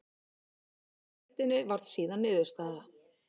Annað sæti í deildinni varð síðan niðurstaða.